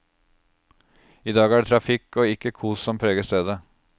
I dag er det trafikk og ikke kos som preger stedet.